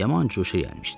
Yaman cuşa gəlmişdi.